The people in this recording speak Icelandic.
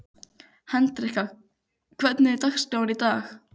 Hendrikka, hvernig er dagskráin í dag?